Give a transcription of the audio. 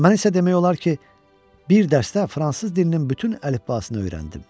Mən isə demək olar ki, bir dərsdə fransız dilinin bütün əlifbasını öyrəndim.